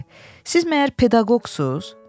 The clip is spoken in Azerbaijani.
Siz məgər pedaqoqsuz?